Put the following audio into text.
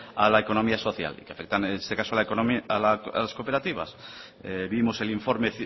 a la economía social que afectan en este caso a las cooperativas vimos el informe